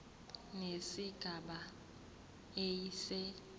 nesigaba a se